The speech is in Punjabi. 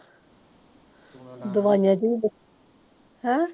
ਦਵਾਈਆਂ ਦੀ ਵੀ ਬਚ ਹੈਂ